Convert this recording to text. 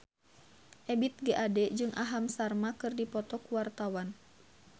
Ebith G. Ade jeung Aham Sharma keur dipoto ku wartawan